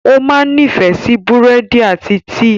O máa nifẹ si búrẹ́dì ati tíí